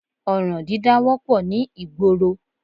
Ọ̀ràn dídá wọ́pọ̀ ní ìgboro